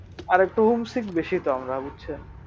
বেশি তো আমরা বুঝছেন